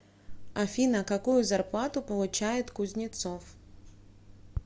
афина какую зарплату получает кузнецов